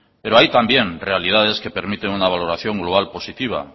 pero hay también realidades que permiten una valoración global positiva